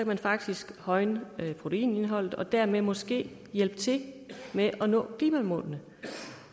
man faktisk højne proteinindholdet og dermed måske hjælpe til med at nå klimamålene